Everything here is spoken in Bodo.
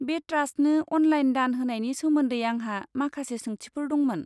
बे ट्रास्टनो अनलाइन दान होनायनि सोमोन्दै आंहा माखासे सोंथिफोर दंमोन।